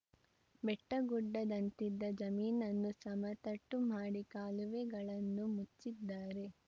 ಬೆಟ್ಟಗುಡ್ಡದಂತಿದ್ದ ಜಮೀನನ್ನು ಸಮತಟ್ಟು ಮಾಡಿ ಕಾಲುವೆಗಳನ್ನು ಮುಚ್ಚಿದ್ದಾರೆ